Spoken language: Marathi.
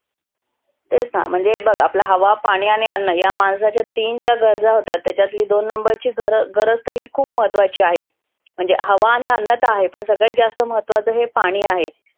तेच ना म्हणजे बघ आपल हवा, पाणी आणि अन्न या माणसाच्या तीन ज्या गरजा होतात त्याच्यातली दोन number ची गरज तर ही खुप महत्वाची आहे. म्हणजे हवा आणि अन्न तर आहे पण सगळ्यात जास्त महत्वाच हे पाणि आहे.